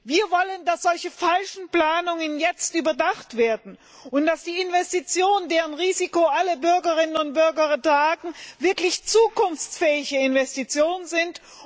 Wir wollen, dass solche falschen Planungen jetzt überdacht werden und dass die Investitionen, deren Risiko alle Bürgerinnen und Bürger tragen, wirklich zukunftsfähige Investitionen sind.